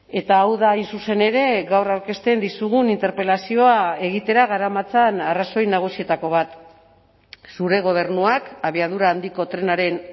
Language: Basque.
eta hau da hain zuzen ere gaur aurkezten dizugun interpelazioa egitera garamatzan arrazoi nagusietako bat zure gobernuak abiadura handiko trenaren